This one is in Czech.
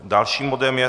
Dalším bodem je